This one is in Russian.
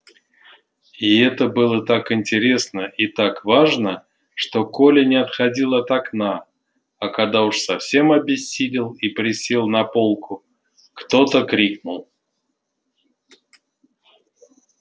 и это было так интересно и так важно что коля не отходил от окна а когда уж совсем обессилел и присел на полку кто то крикнул